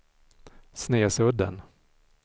Snesudden